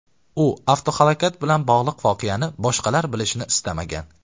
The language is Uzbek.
U avtohalokat bilan bog‘liq voqeani boshqalar bilishini istamagan.